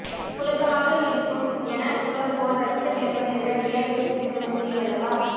புழுக்கமாக இருக்கும் என புலம்புவோர் ரத்தத்தை இழப்பதை விட வியர்வையை சிந்துவது மேல் அல்லவா